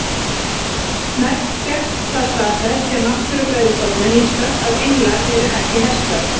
Næst fékkst það staðfest hjá Náttúrufræðistofnun Íslands að englar eru ekki hestar.